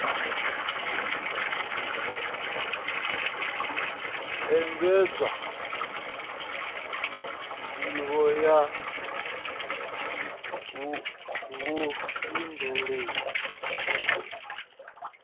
engedzwa nd ivho ya vhufhinduleli